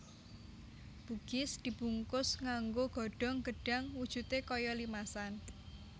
Bugis dibungkus nganggo godhong gedhang wujudé kaya limasan